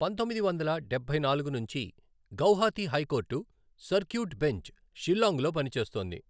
పంతొమ్మిది వందల డబ్బై నాలుగు నుంచి Guwahati high court circuit bench Shillong లో పనిచేస్తోంది.